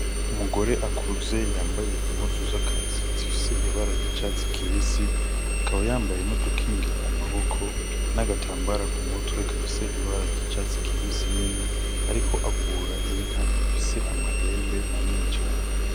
Umugore akuze yambaye impuzu zakazi zifise ibara ry'icatsi kibisi akaba yambaye n'udukingira amaboko n'agatambara ku mutwe gafise ibara ry'icatsi kibisi nyene ariko avura inka ifise amahembe manini cane.